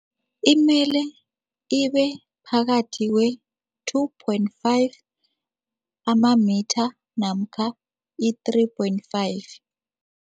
Imele ibephakathi kwe-two point five amamitha namkha i-three point five.